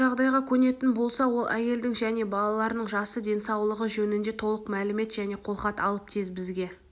осы жағдайға көнетін болса ол әйелдің және балаларының жасы денсаулығы жөнінде толық мәлімет және қолхат алып тез бізге